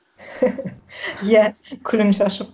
иә күлін шашып